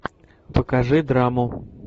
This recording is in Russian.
покажи драму